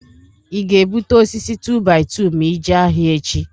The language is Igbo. I ga-ebuta osisi tu-baị-tu ma ijee ahịa echị?